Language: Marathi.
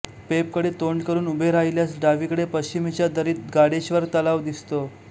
पेबकडे तोंड करून उभे राहिल्यास डावीकडे पश्चिमेच्या दरीत गाडेश्वर तलाव दिसतो